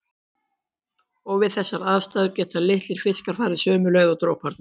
Og við þessar aðstæður geta litlir fiskar farið sömu leið og droparnir.